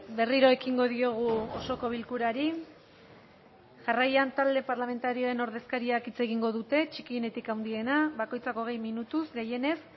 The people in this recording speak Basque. berriro ekingo diogu osoko bilkurari jarraian talde parlamentarioen ordezkariak hitz egingo dute txikienetik handiena bakoitzak hogei minutuz gehienez